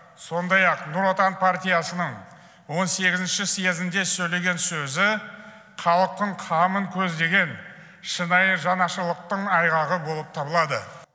сондай ақ нұр отан партиясының он сегізінші съезінде сөйлеген сөзі халықтың қамын көздеген шынайы жанашырлықтың айғағы болып табылады